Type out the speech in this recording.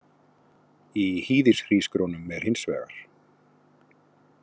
Í hýðishrísgrjónum er hins vegar.